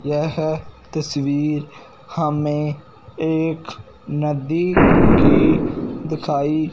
यह तस्वीर हमें एक नदी की दिखाई--